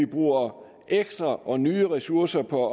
bruger ekstra og nye ressourcer på